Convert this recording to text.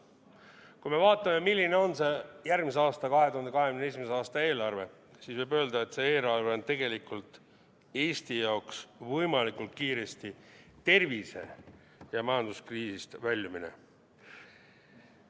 Kui me vaatame, milline on see järgmise aasta, 2021. aasta eelarve, siis võib öelda, et see eelarve on tegelikult Eesti jaoks võimalikult kiiresti tervise- ja majanduskriisist väljumine.